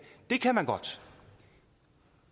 det kan man godt